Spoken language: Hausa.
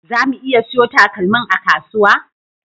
Zamu iya siyo takalmin a kasuwa?